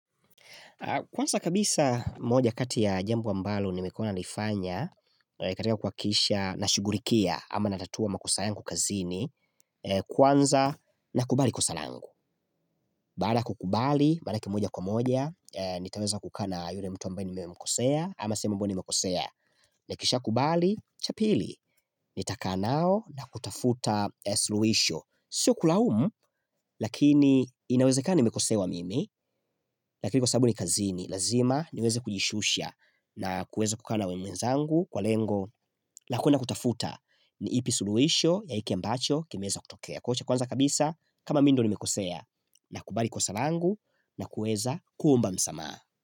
Kwanza kabisa moja kati ya jambo ambalo nimekuwa nalifanya, katika kuhakikisha nashughulikia ama natatua makosa yangu kazini, kwanza nakubali kosa langu. Baada ya kukubali, mara kimoja kwa moja, nitaweza kukaa na yule mtu ambaye nimemkosea, ama sehemu ambayo nimekosea. Nikishakubali, cha pili, nitakaa nao na kutafuta suluhisho. Sio kulaumu, lakini inawezekana nimekosewa mimi, lakini kwa sababu ni kazini, lazima niweze kujishusha na kuweza kukaa na wenzangu kwa lengo la kwenda kutafuta, ni ipi suluisho ya hiki ambacho kimeweza kutokea. Cha kwanza kabisa, kama mi ndio nimekosea, nakubali kosa langu na kuweza kuomba msamaha.